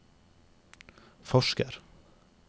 forsker